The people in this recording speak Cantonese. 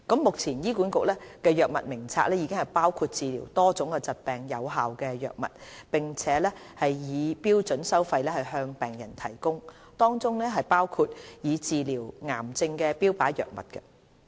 目前，醫管局藥物名冊已包括治療多種疾病的有效藥物，並以標準收費向病人提供，當中包括用以治療癌症的標靶藥物。